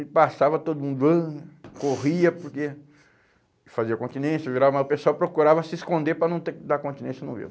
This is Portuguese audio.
Ele passava todo mundo corria porque fazia continência, virava, mas o pessoal procurava se esconder para não ter que dar continência no vivo.